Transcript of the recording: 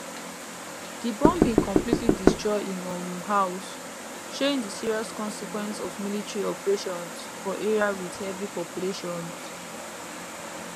di bombing completely destroy im um house showing di serious consequence of military operations for area wit heavy populations